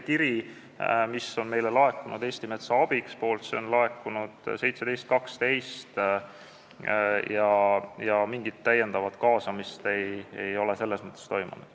Kiri MTÜ-lt Eesti Metsa Abiks laekus 17. detsembril ja mingit lisakaasamist ei ole selles mõttes toimunud.